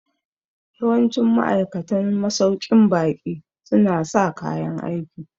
Yawancin ma'aikatan masauƙin baƙi su na sa kayan aiki